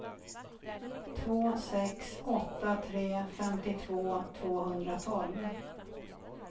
två sex åtta tre femtiotvå tvåhundratolv